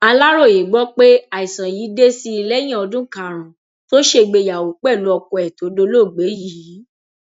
aláròye gbọ pé àìsàn yìí dé sí i lẹyìn ọdún karùnún tó ṣègbéyàwó pẹlú ọkọ ẹ tó dolóògbé yìí